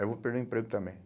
Eu vou perder o emprego também.